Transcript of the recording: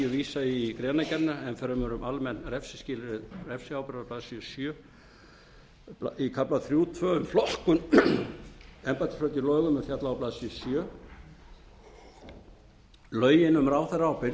ég í greinargerðina enn fremur um almenn refsiskilyrði refsiábyrgðar á blaðsíðu sjö í kafla þrjú tvö um flokkun embættisbrota í lögum er fjallað á blaðsíðu sjöunda lögin um ráðherraábyrgð